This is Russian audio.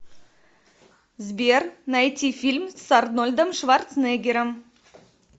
сбер найти фильм с арнольдом шварценеггером